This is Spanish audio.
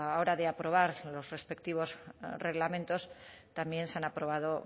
hora de aprobar los respectivos reglamentos también se han aprobado